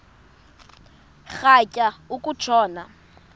rhatya uku tshona